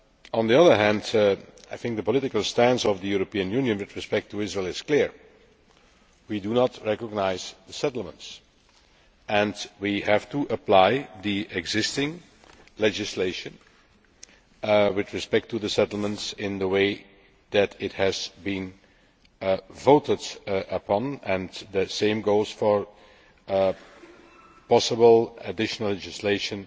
On the other hand I think the political stance of the European Union with respect to Israel is clear we do not recognise the settlements. We have to apply the existing legislation with respect to the settlements in the way that has been voted upon and the same goes for possible additional legislation